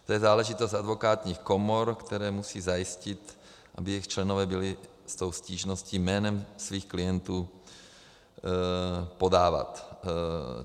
To je záležitost advokátních komor, které musí zajistit, aby jejich členové byli s tou stížností jménem svých klientů podávat.